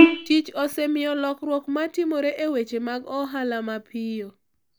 Tich osemiyo lokruok ma timore e weche mag ohala mapiyo.